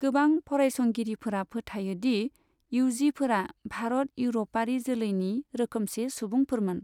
गोबां फरायसंगिरिफोरा फोथायो दि इउजिफोरा भारत इउरपआरि जोलैनि रोखोमसे सुबुंफोरमोन।